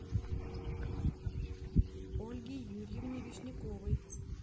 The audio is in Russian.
ольге юрьевне вишняковой